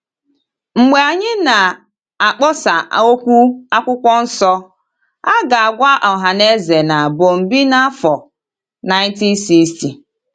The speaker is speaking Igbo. Mgbe anyị na - akpọsa okwu akwụkwọ nso, a ga - agwa ọhaneze na Bọmbee n’afọ 1960